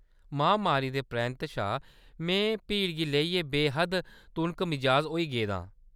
महामारी दे परैंत्त शा मैं भीड़ गी लेइयै बे-हद्द तुनकमिजाज होई गेदा आं।